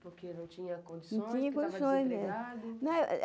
porque não tinha condições, porque estava desempregado.